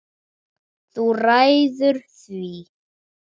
Þú ræður því.